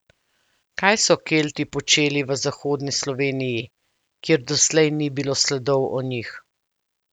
Kaj so Kelti počeli v zahodni Sloveniji, kjer doslej ni bilo sledov o njih?